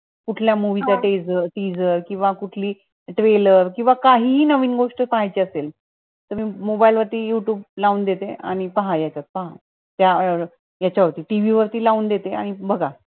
कुठल्या movie च teaserteaser किंवा कुठली trailer किंवा काही नवीन गोष्ट पाहायची असेल तर मी mobile वर youtube लावून देते पहा यांच्यात पहा त्या यांच्या वरती t. v. वरती लावून देते आणि बगा